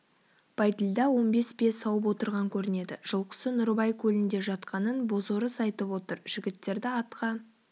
бәйділда он бес бие сауып отырған көрінеді жылқысы нұрыбай көлінде жатқанын бозорыс айтып отыр жігіттерді атқа